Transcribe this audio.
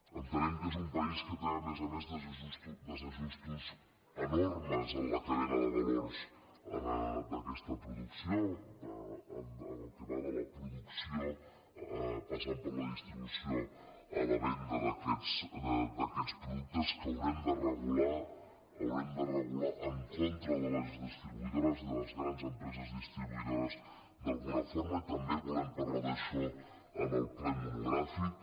entenem que és un país que té a més a més desa·justos enormes en la cadena de valors d’aquesta pro·ducció en el que va de la producció passant per la distribució a la venda d’aquests productes que hau·rem de regular els haurem de regular en contra de les distribuïdores i de les grans empreses distribuïdo·res d’alguna forma i també volem parlar d’això en el ple monogràfic